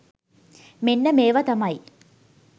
මෙන්න මේවා තමයි